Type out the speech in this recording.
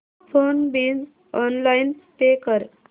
phone bill online pay कर